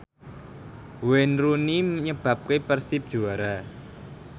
Wayne Rooney nyebabke Persib juara